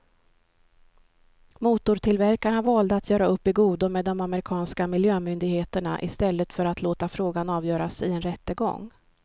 Motortillverkarna valde att göra upp i godo med de amerikanska miljömyndigheterna i stället för att låta frågan avgöras i en rättegång.